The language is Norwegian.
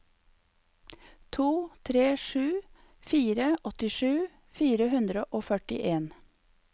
to tre sju fire åttisju fire hundre og førtien